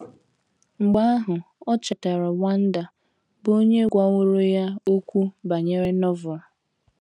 Mgbe ahụ, o chetara Wanda, bụ́ onye gwaworo ya okwu banyere Novel.